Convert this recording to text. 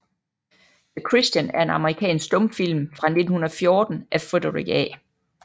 The Christian er en amerikansk stumfilm fra 1914 af Frederick A